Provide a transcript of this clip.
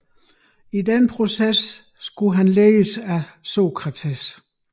I den proces skulle han ledes af Sokrates